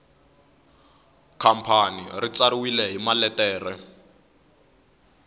khampani ri tsariwile hi maletere